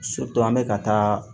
an bɛ ka taa